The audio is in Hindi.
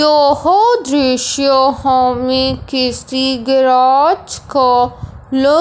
यह दृश्य हमें किसी गैराज का लग--